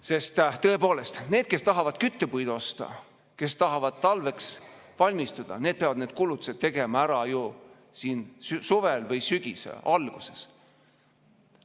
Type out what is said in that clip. Sest tõepoolest, need, kes tahavad küttepuid osta, kes tahavad talveks valmistuda, peavad need kulutused tegema ära ju suvel või sügise alguses.